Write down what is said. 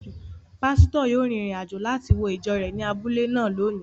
Pásítọ̀ yóò rin ìrìn-àjò láti wo ìjọ rẹ̀ ní abúlé náà lónìí